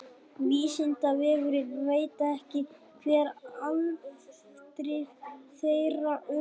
vísindavefurinn veit ekki hver afdrif þeirra urðu